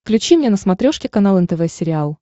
включи мне на смотрешке канал нтв сериал